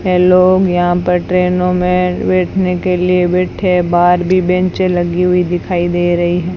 है लोग यहां पर ट्रेनों में बैठने के लिए बैठे है बाहर भी बेचें लगी हुई दिखाई दे रही हैं।